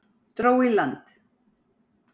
Dró í land